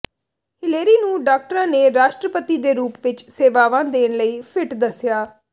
Hillary ਨੂੰ ਡਾਕਟਰਾਂ ਨੇ ਰਾਸ਼ਟਰਪਤੀ ਦੇ ਰੂਪ ਵਿਚ ਸੇਵਾਵਾਂ ਦੇਣ ਲਈ ਫਿੱਟ ਦੱਸਿਆ